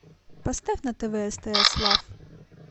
поставь на тв стс лав